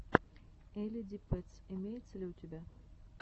элли ди пэтс имеется ли у тебя